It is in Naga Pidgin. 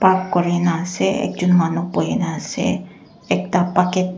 up kurina ase ekjun manu buhina ase ekta bucket .